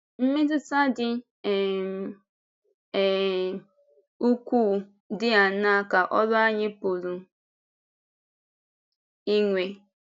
Mmetụta dị um um ukwuu dị áńaa ka ọ́rụ anyị pụrụ inwe?